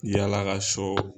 Yaala ka sɔw